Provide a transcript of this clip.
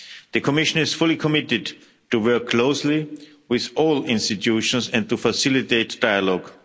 The Commission is fully committed to work closely with all institutions and to facilitate dialogue.